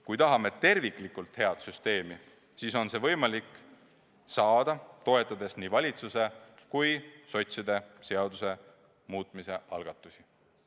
Kui tahame terviklikult head süsteemi, siis on see võimalik saada, toetades nii valitsuse kui sotside seaduse muutmise algatusi.